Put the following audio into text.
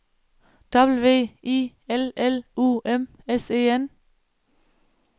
W I L L U M S E N